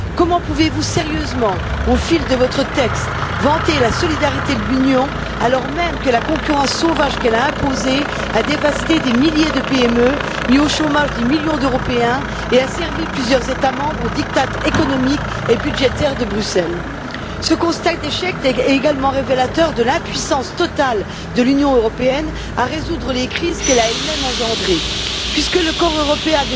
Comment pouvez vous sérieusement, au fil de votre texte, vanter la solidarité de l'Union alors même que la concurrence sauvage qu'elle a imposée a dévasté des milliers de PME, mis au chômage des millions d'Européens et asservi plusieurs États membres aux diktats économiques et budgétaires de Bruxelles? Ce constat d'échec est également révélateur de l'impuissance totale de l'Union Européenne à résoudre les crises qu'elle a elle même engendrées, puisque le corps européen